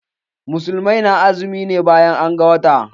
Musulmai na azumi ne bayan an ga wata.